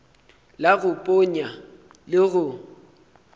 la go ponya le go